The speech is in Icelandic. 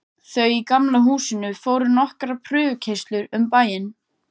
Þau í Gamla húsinu fóru nokkrar prufukeyrslur um bæinn.